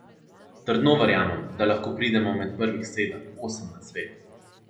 Trdno verjamem, da lahko pridemo med prvih sedem, osem na svetu.